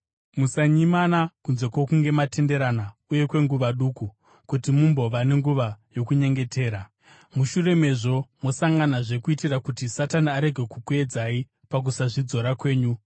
Musanyimana, kunze kwokunge matenderana uye kwenguva duku, kuti mumbova nenguva yokunyengetera. Mushure mezvo mosanganazve kuitira kuti Satani arege kukuedzai pakusazvidzora kwenyu.